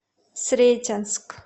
сретенск